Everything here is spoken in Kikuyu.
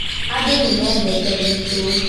Andũ nĩ mendete gwitũ